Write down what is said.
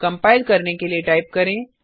compile करने के लिए टाइप करें